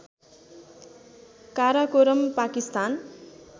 Karakoram Pakistan